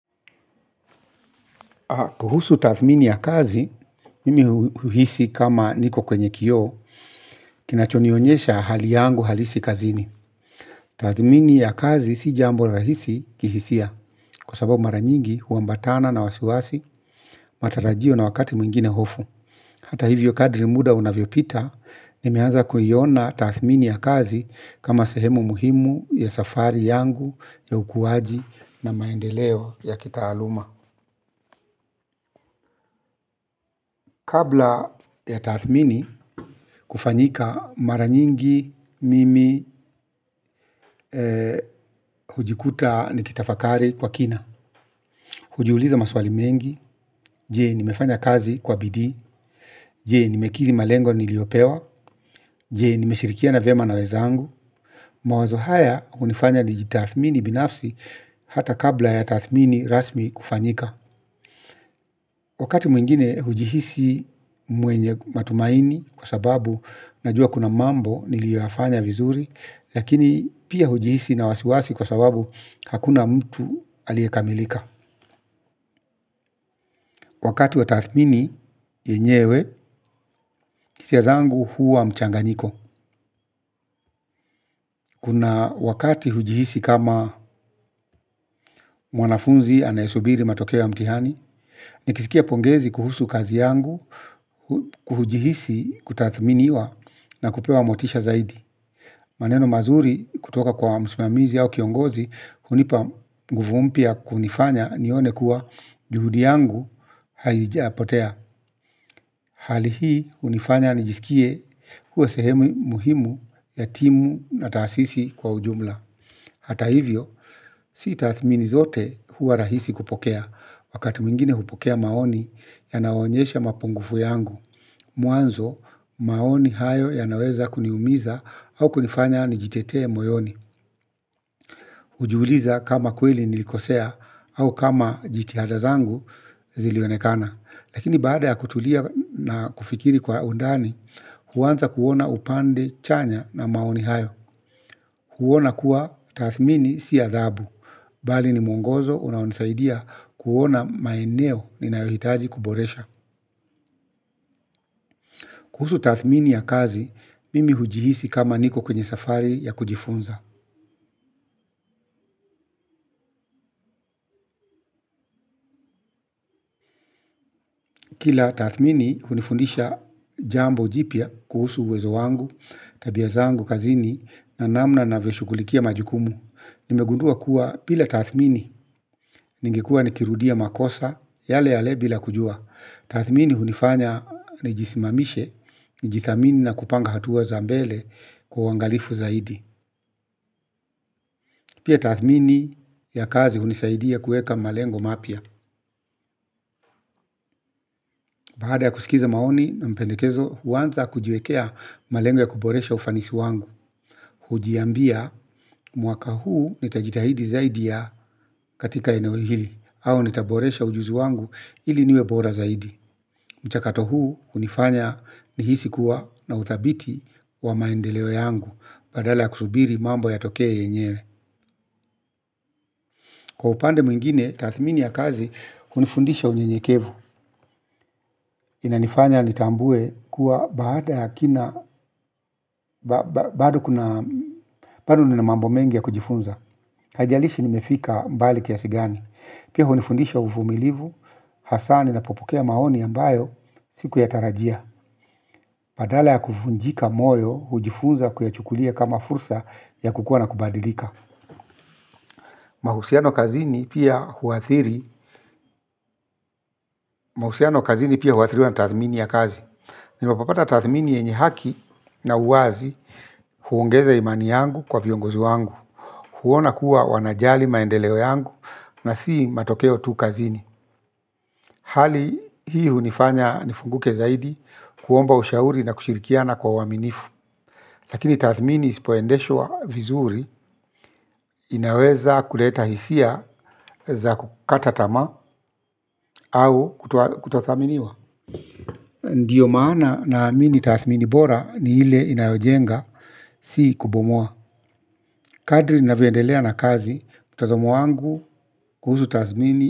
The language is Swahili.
Kuhusu tathmini ya kazi, mimi huhisi kama niko kwenye kioo, kinacho nionyesha hali yangu halisi kazini. Tathmini ya kazi si jambo rahisi kihisia, kwa sababu mara nyingi huambatana na wasiwasi, matarajio na wakati mwingine hofu. Hata hivyo kadri muda unavyo pita, nimeanza kuiona tathmini ya kazi kama sehemu muhimu ya safari yangu ya ukuaji na maendeleo ya kitaaluma. Kabla ya tathmini kufanyika mara nyingi mimi hujikuta nikitafakari kwa kina. Hujiuliza maswali mengi, je, nimefanya kazi kwa bidii? Je, nimekithi malengo niliyopewa? Je, nimeshirikiana vyema na wenzangu? Mawazo haya hunifanya nijitathmini binafsi hata kabla ya tathmini rasmi kufanyika. Wakati mwingine hujihisi mwenye matumaini kwa sababu najua kuna mambo niliyofanya vizuri, lakini pia hujihisi na wasiwasi kwa sababu hakuna mtu aliye kamilika. Wakati wa tathmini yenyewe, hisia zangu huwa mchanganyiko. Kuna wakati hujihisi kama mwanafunzi anaye subiri matokeo ya mtihani, nikisikia pongezi kuhusu kazi yangu, hujihisi kutathminiwa na kupewa motisha zaidi. Maneno mazuri kutoka kwa msimamizi au kiongozi, hunipa nguvu mpya ya kunifanya nione kuwa juhudi yangu haijapotea. Hali hii hunifanya nijisikie kuwa sehemu muhimu ya timu na taasisi kwa ujumla. Hata hivyo, si tathmini zote huwa rahisi kupokea, wakati mwingine hupokea maoni yanayo onyesha mapungufu yangu. Mwanzo, maoni hayo yanaweza kuniumiza au kunifanya nijitetee moyoni. Hujiuliza kama kweli nilikosea au kama jitihada zangu zilionekana. Lakini baada ya kutulia na kufikiri kwa undani, huanza kuona upande chanya na maoni hayo. Huona kuwa tathmini si adhabu, bali ni mwongozo unaonisaidia kuona maeneo ninayohitaji kuboresha. Kuhusu tathmini ya kazi, mimi hujihisi kama niko kwenye safari ya kujifunza. Kila tathmini hunifundisha jambo jipya kuhusu uwezo wangu, tabia zangu kazini, na namna navyo shughulikia majukumu. Nimegundua kuwa bila tathmini, ningekuwa nikirudia makosa, yale yale bila kujua. Tathmini hunifanya nijisimamishe nijithamini na kupanga hatua za mbele kwa uangalifu zaidi. Pia tathmini ya kazi hunisaidia kueka malengo mapya. Baada ya kusikiza maoni na mapendekezo huanza kujiwekea malengo ya kuboresha ufanisi wangu. Hujiambia mwaka huu nitajitahidi zaidi ya katika eneo hili. Au nitaboresha ujuzi wangu ili niwe bora zaidi. Mchakato huu, hunifanya nihisi kuwa nina uthabiti wa maendeleo yangu, badala ya kusubiri mambo yatokee yenyewe. Kwa upande mwingine, tathmini ya kazi, hunifundisha unyenyekevu. Inanifanya nitambue kuwa baada ya kina, bado kuna, bado nina mambo mengi ya kujifunza. Haijalishi nimefika mbali kiasi gani. Pia hunifundisha uvumilivu, hasa ninapo pokea maoni ambayo, sikuyatarajia. Badala ya kuvunjika moyo, hujifunza kuyachukulia kama fursa ya kukua na kubadilika. Mahusiano kazini pia huathiri. Mahusiano kazini pia huathiriwa na tathmini ya kazi. Ninapopata tathmini yenyi haki na uwazi, huongeza imani yangu kwa viongozi wangu. Huona kuwa wanajali maendeleo yangu na si matokeo tu kazini. Hali hii hunifanya nifunguke zaidi kuomba ushauri na kushirikiana kwa uaminifu. Lakini taathmini isipo endeshwa vizuri, inaweza kuleta hisia za kukata tamaa au kutothaminiwa. Ndio maana na amini tathmini bora ni ile inayojenga. Si kubomua. Kadri ninavyo endelea na kazi mtazamo wangu kuhusu taathmini.